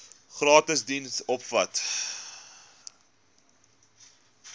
gratis diens omvat